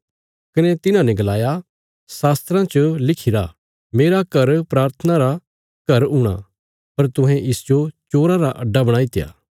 कने तिन्हाने गलाया पवित्र शास्त्रा च लिखिरा मेरा घर प्राथना रा घर हूणा पर तुहें इसजो चोराँ रा अड्डा बणाईत्या